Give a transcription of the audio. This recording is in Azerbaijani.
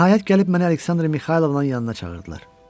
Nəhayət gəlib mənə Aleksandra Mixaylovnanın yanına çağırdılar.